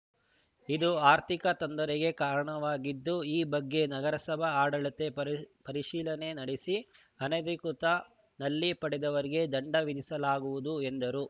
ಇದು ಆರ್ಥಿಕ ತೊಂದರೆಗೆ ಕಾರಣವಾಗಿದ್ದು ಈ ಬಗ್ಗೆ ನಗರಸಭಾ ಆಡಳಿತ ಪರಿಶೀಲನೆ ನಡೆಸಿ ಅನಧಿಕೃತ ನಲ್ಲಿ ಪಡೆದವರಿಗೆ ದಂಡ ವಿಧಿಸಲಾಗುವುದು ಎಂದರು